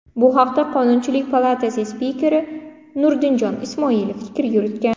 Bu haqda Qonunchilik palatasi spikeri Nurdinjon Ismoilov fikr yuritgan .